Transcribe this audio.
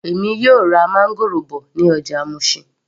Èmi yóò ra máńgòrò bọ̀ ní ọjà Mushin